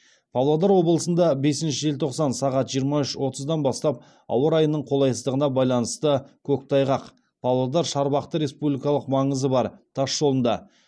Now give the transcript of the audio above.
павлодар облысында бесінші желтоқсан сағат жиырма үш отыздан бастап ауа райының қолайсыздығына байланысты павлодар шарбақты республикалық маңызы бар тасжолдыңда